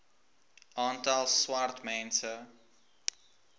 aantal swart mense